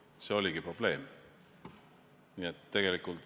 See oligi probleem.